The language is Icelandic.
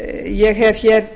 ég hef hér